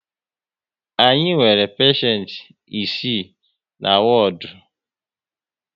Anyị nwere peshent isii na wodu